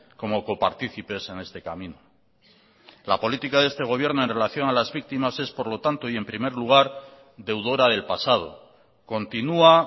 como coparticipes en este camino la política de este gobierno en relación a las víctimas es por lo tanto y en primer lugar deudora del pasado continua